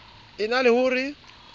e na le ho re